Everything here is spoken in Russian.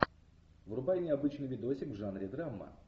врубай необычный видосик в жанре драма